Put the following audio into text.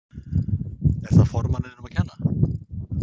Er það formanninum að kenna?